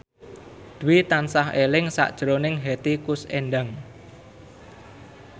Dwi tansah eling sakjroning Hetty Koes Endang